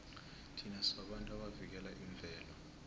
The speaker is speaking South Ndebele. thina sibabantu abavikela imvelo